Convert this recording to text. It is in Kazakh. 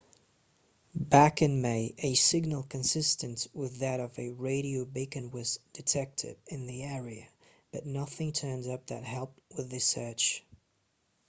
back in may a signal consistent with that of a radio beacon was detected in the area but nothing turned up that helped with the search